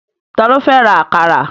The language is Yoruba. Ta ló fẹ́ ra àkàrà?